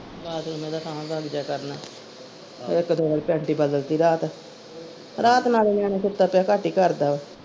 ਕਰਨਾ ਇੱਕ ਤੇ ਮੈਂ panty ਬਦਲਤੀ ਰਾਤ ਰਾਤ ਨਾਲੇ ਨਿਆਣੇ ਸੁੱਤੇ ਪਇਆ ਘਟ ਹੀ ਕਰਦਾ ਵਾ।